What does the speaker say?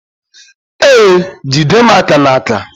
Ee, jide m aka n'aka